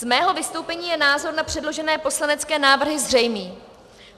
Z mého vystoupení je názor na předložené poslanecké návrhy zřejmý.